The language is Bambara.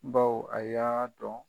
Baw a y'a